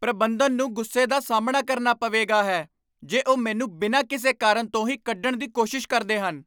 ਪ੍ਰਬੰਧਨ ਨੂੰ ਗੁੱਸੇ ਦਾ ਸਾਹਮਣਾ ਕਰਨਾ ਪਵੇਗਾ ਹੈ ਜੇ ਉਹ ਮੈਨੂੰ ਬਿਨਾਂ ਕਿਸੇ ਕਾਰਨ ਤੋਂ ਹੀ ਕੱਢਣ ਦੀ ਕੋਸ਼ਿਸ਼ ਕਰਦੇ ਹਨ।